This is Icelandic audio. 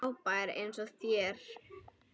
Frábær eins og þér.